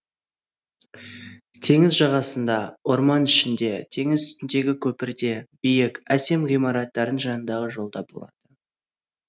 теңіз жағасында орман ішінде теңіз үстіндегі көпірде биік әсем ғимараттардың жанындағы жолда болады